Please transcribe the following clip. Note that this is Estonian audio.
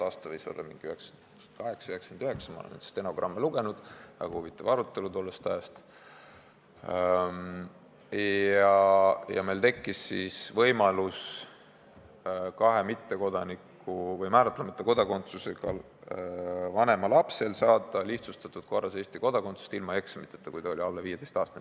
Aasta võis olla 1998 või 1999 – ma olen neid stenogramme lugenud, väga huvitav arutelu tollest ajast – ja meil tekkis kahe mittekodaniku või määratlemata kodakondsusega vanema lapsel võimalus saada Eesti kodakondsus lihtsustatud korras ilma eksameid tegemata, kui laps oli alla 15-aastane.